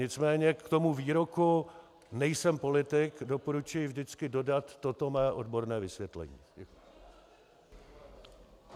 Nicméně k tomu výroku "nejsem politik" doporučuji vždycky dodat toto mé odborné vysvětlení.